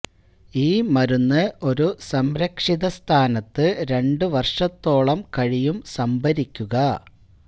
ഈ മരുന്ന് ഒരു സംരക്ഷിത സ്ഥാനത്ത് രണ്ട് വർഷത്തോളം കഴിയും സംഭരിക്കുക